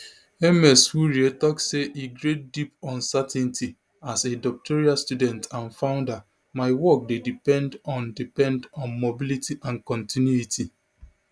ms wurie tok say e create deep uncertainty as a doctoral student and founder my work dey depend on depend on mobility and continuity